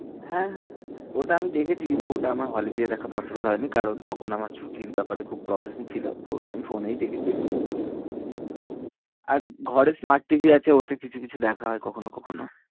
হ্যাঁ, হ্যাঁ, হ্যাঁ ওটা আমি দেখেছি কিন্তু ওটা আমার hall এ গিয়ে দেখা possible হয়নি কারণ তখন আমার ছুটির ব্যাপারে খুব problem ছিল, তো ওটা আমি phone এই দেখেছি আর ঘরে smartTV আছে, ওতে কিছু কিছু দেখা হয় কখনও কখনও